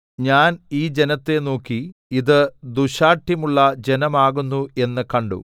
ഞാൻ ഈ ജനത്തെ നോക്കി അത് ദുശ്ശാഠ്യമുള്ള ജനം ആകുന്നു എന്ന് കണ്ടു